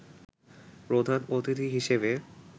প্রধান অতিথি হিসেবে